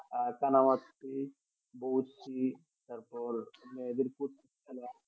আহ কানামাছি বড়শি তারপর মায়েদের প্রচুর খালা